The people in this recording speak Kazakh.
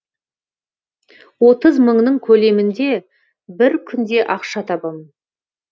отыз мыңның көлемінде бір күнде ақша табамын